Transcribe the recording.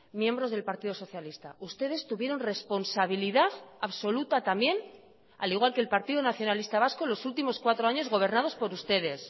miembros del partido socialista ustedes tuvieron responsabilidad absoluta también al igual que el partido nacionalista vasco los últimos cuatro años gobernados por ustedes